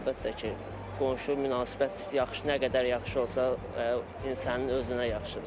Əlbəttə ki, qonşu münasibət nə qədər yaxşı olsa, insanın özünə yaxşıdır.